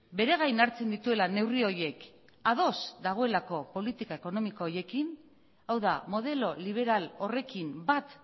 bere gain hartzen dituela neurri horiek ados dagoelako politika ekonomiko horiekin hau da modelo liberal horrekin bat